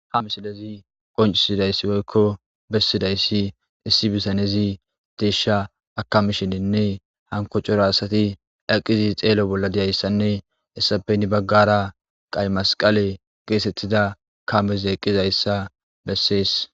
Ha misilezi qoncisidayssi woykko bessidayssi issi bisanezi deesha akamishinenne hanko cora asati daqqizi xeelo bolla deyayssanne hessape ni baggara qay masqale geesettida kameze eqqizayssa bessees.